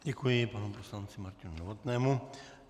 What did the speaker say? Děkuji panu poslanci Martinu Novotnému.